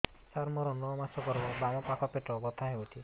ସାର ମୋର ନଅ ମାସ ଗର୍ଭ ବାମପାଖ ପେଟ ବହୁତ ବଥା ହଉଚି